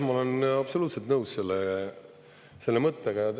Ma olen absoluutselt nõus selle mõttega.